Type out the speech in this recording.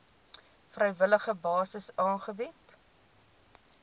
vrywillige basis aangebied